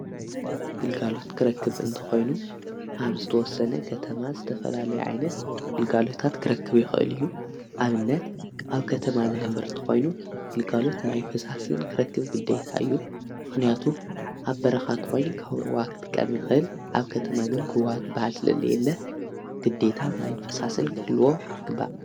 ግልጋሎት ክረክብ እንተ ኾይኑ ኣብ ዝተወሰነ ከተማ ዝተፈላልየ ዓይነት ግልጋሎታት ክረክብ ይኽእል እዩ ኣምነት። ኣብ ከተማ ዝነበርቲ ኾይኑ ግልጋሎት ማይንፍሳስን ክረክብ ግደታ እዩ። ምኽንያቱም ኣብ በረኻት ኾይኑ ካውሩዋኽ ጥቀሚኽህል ኣብ ከተማግን ርዋድ ባዓል ስለለየለ ግዲታ ማይንፍሳስን ክህልዎ ግባእ።